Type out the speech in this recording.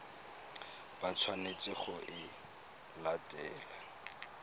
ba tshwanetseng go e latela